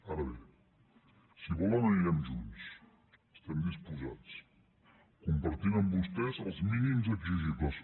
ara bé si volen anirem junts hi estem disposats compartint amb vostès els mínims exigibles